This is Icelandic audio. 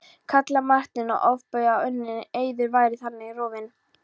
kallaði Marteinn og ofbauð að unninn eiður væri þannig rofinn.